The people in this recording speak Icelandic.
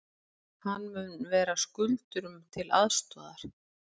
Hann mun vera skuldurum til aðstoðar